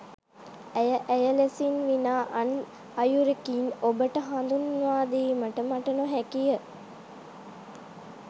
ඇය ඇය ලෙසින් විනා අන් අයුරකින් ඔබට හඳුන්වාදීමට මට නොහැකිය.